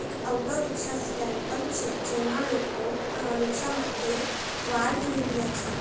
એક auto rickshaw stand પણ છે જેમાં લોકો અ અ લોકો રિક્ષા માટે વાર જોઈ રહ્યા છે.